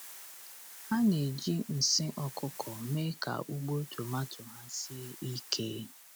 Ha na-eji nsị ọkụkọ mee ka ugbo tomato ha sie ike.